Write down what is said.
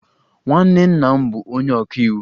Nwanne nna m bụ onye ọka iwu.